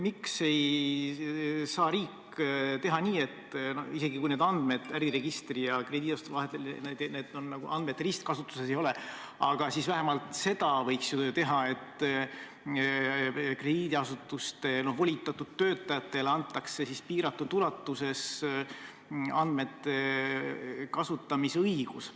Miks ei saa riik teha nii, et isegi kui need andmed äriregistri ja krediidiasutuste vahel ristkasutuses ei ole, siis vähemalt krediidiasutuste volitatud töötajatele antakse piiratud ulatuses andmete kasutamise õigus?